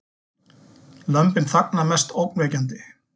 Lömbin þagna mest ógnvekjandi